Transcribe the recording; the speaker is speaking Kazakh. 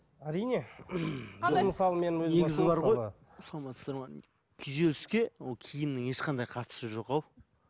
әрине саламатсыздар ма күйзеліске ол киімнің ешқандай қатысы жок ау